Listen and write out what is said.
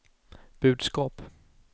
budskap